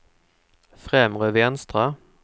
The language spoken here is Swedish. främre vänstra